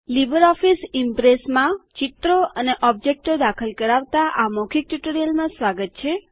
LibreOffice Impress ચિત્રો અને ઓબ્જેક્ટો દાખલ કરાવતા આ મૌખિક ટ્યુટોરીયલમાં સ્વાગત છે